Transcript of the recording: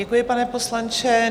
Děkuji, pane poslanče.